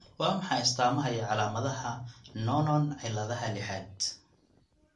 Waa maxay astamaha iyo calaamadaha Noonan ciladha lixaad?